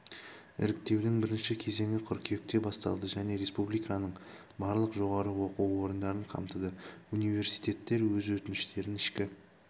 іріктеудің бірінші кезеңі қыркүйекте басталды және республиканың барлық жоғары оқу орындарын қамтыды университеттер өз өтініштерін ішкі